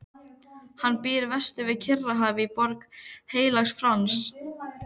Hann býr vestur við Kyrrahaf í Borg Heilags Frans.